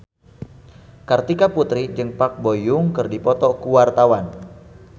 Kartika Putri jeung Park Bo Yung keur dipoto ku wartawan